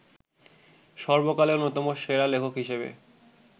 সর্বকালের অন্যতম সেরা লেখক হিসেবে